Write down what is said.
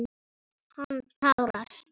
Hann tárast.